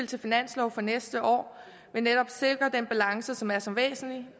til finanslov for næste år vil netop sikre den balance som er så væsentlig og